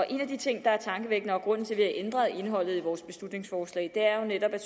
en af de ting der er tankevækkende og grunden til at ændret indholdet i vores beslutningsforslag er jo netop at